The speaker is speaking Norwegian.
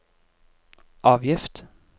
avgift